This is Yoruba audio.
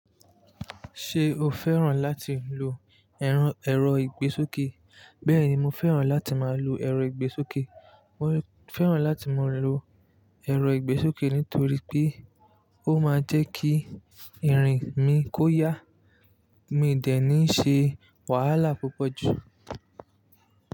Ṣé o fẹ́ràn láti lo ẹran ẹ̀rọ ìgbésókè? Bẹ́ẹ̀ni, mo fẹ́ràn láti máa lo ẹ̀rọ ìgbésókè. Mo fẹ́ràn láti máa lo ẹ̀rọ ìgbésókè nítorí pé ó máa ń jẹ́ kí irin mi kó yá, mi i dẹ̀ níí ṣe wàhálà púpọ̀ jù.